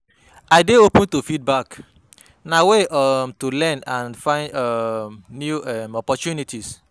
I dey open to feedback; na way um to learn and find um new um opportunities.